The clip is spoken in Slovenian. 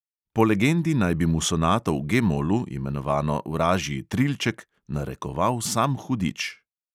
Po legendi naj bi mu sonato v G molu, imenovano vražji trilček, narekoval sam hudič.